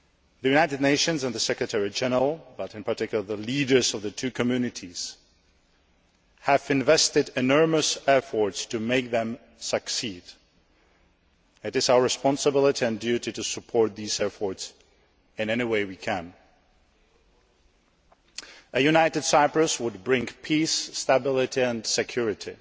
The United Nations and the Secretary General, but in particular the leaders of the two communities, have invested enormous effort in making them succeed, and it is our responsibility and duty to support these efforts in any way we can. A united Cyprus would bring peace, stability and security